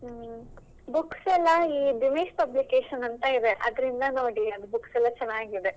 Books ಎಲ್ಲ ಈ Dinesh Publication ಅಂತ ಇದೆ ಅದ್ರಿಂದ ನೋಡಿ ಅದು Books ಎಲ್ಲಾ ಚೆನ್ನಾಗಿದೆ.